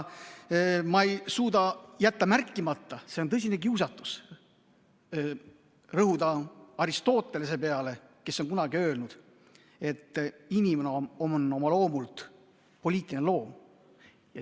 Ma ei suuda jätta märkimata, et on tõsine kiusatus rõhuda Aristotelesele, kes on kunagi öelnud, et inimene on oma loomult poliitiline loom.